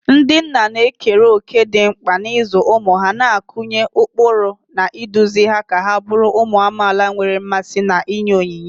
Ndị nna na-ekere òkè dị mkpa n'ịzụ ụmụ ha, na-akụnye ụkpụrụ, na iduzi ha ka ha bụrụ ụmụ amaala nwere mmasị na inye onyinye.